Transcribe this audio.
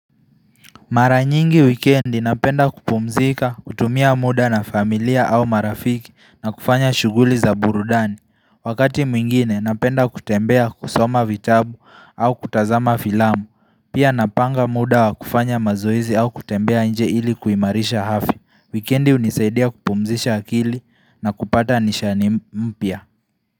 Maranyingi wikendi napenda kupumzika, kutumia muda na familia au marafiki na kufanya shuguli za burudani Wakati mwingine napenda kutembea kusoma vitabu au kutazama filamu Pia napanga muda wa kufanya mazoezi au kutembea nje ili kuimarisha afya Wikendi unisaidia kupumzisha akili na kupata nishani mpya.